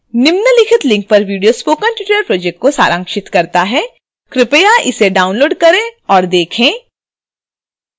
निम्नलिखित link पर video spoken tutorial project को सारांशित करता है कृपया इसे download करें और देखें